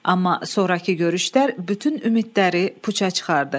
Amma sonrakı görüşlər bütün ümidləri puça çıxardı.